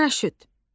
Paraşüt.